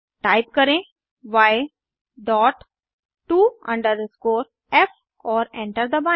type करें y dot to f और enter दबाएं